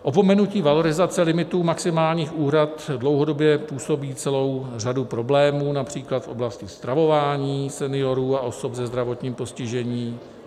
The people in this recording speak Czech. Opomenutí valorizace limitů maximálních úhrad dlouhodobě působí celou řadu problémů například v oblasti stravování seniorů a osob se zdravotním postižením.